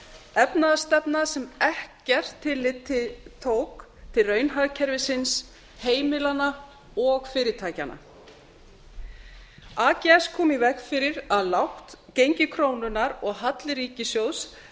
efnahagsstefna sem ekkert tillit tók til raunhagkerfisins heimilanna og fyrirtækjanna ags kom í veg fyrir að lágt gengi krónunnar og halli ríkissjóðs